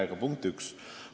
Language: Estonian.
See on punkt üks.